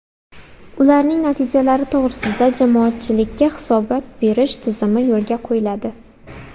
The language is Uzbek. Ularning natijalari to‘g‘risida jamoatchilikka hisobot berish tizimi yo‘lga qo‘yiladi.